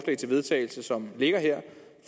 til vedtagelse som ligger her